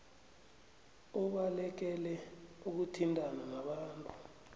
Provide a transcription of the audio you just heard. ubalekele ukuthintana nabantu